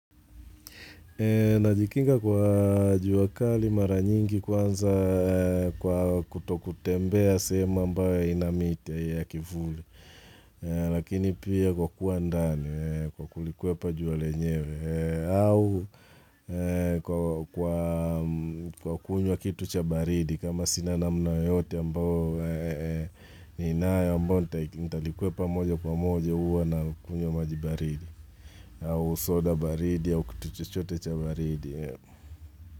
Najikinga kwa jua kali mara nyingi kwanza kwa kutokutembea sehemu ambayo haina miti ya kivuli. Lakini pia kwa kuwa ndani kwa kulikwepa jua lenyewe au kwa kunywa kitu cha baridi kama sina namna yote ambao niinayo ambao nitalikwepa moja kwa moja huwa nakunyuwa maji baridi. Au soda baridi au kitu chochote cha baridi.